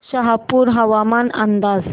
शहापूर हवामान अंदाज